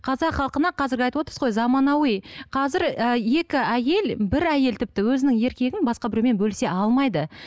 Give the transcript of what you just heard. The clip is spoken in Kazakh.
қазақ халқына қазіргі айтып отырсыз ғой заманауи қазір і екі әйел бір әйел тіпті өзінің еркегін басқа біреумен бөлісе алмайды